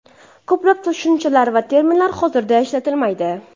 Ko‘plab tushunchalar va terminlar hozirda ishlatilmaydi.